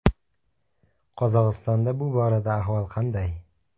Qozog‘istonda bu borada ahvol qanday?